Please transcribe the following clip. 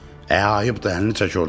Ə ayıp, əlini çək ordan.